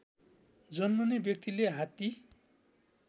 जन्मने व्यक्तिले हात्ती